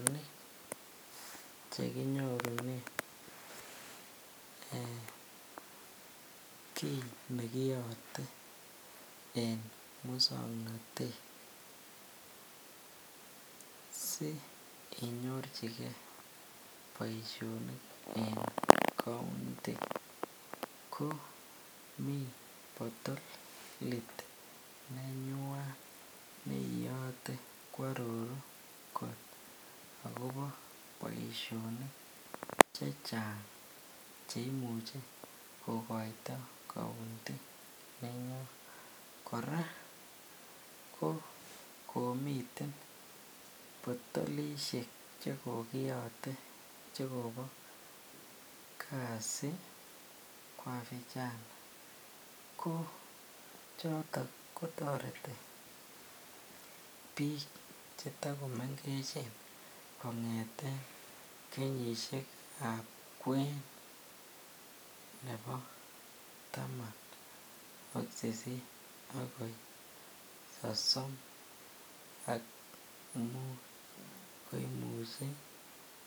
Poishonik chekinyorunen kii nekiyote en muswoknotet sii inyorchike boishonik en county komii potolit nenywan neiyote kwororu kot akobo boishonik chechang cheimuche kokoito county, kora ko komiten potolishek chekokiyote che kobo kasi kwa vijana ko chotok kotoreti biik chetokomengechen kongeten kenyishekab kwen nebo taman ak sisit akoi sosom ak muut koimuchi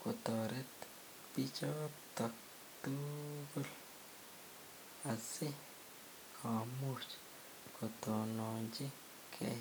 kotoret bichoton tukul asikomuch kotononchike.